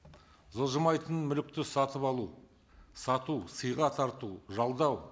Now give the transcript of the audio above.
жылжымайтын мүлікті сатып алу сату сыйға тарту жалдау